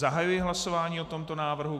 Zahajuji hlasování o tomto návrhu.